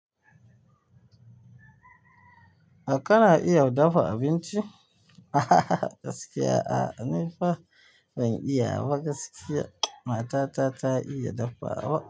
Ka na iya dafa abinci? Ahhhhh gaskiya a'a, ni fa ban iya ba gaskiya. Matata ta iya dafawa.